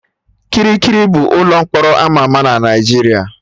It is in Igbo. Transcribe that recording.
Kirikiri bụ ụlọ mkpọrọ ama ama na Naijiria